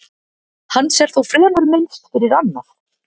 Hans er þó fremur minnst fyrir annað.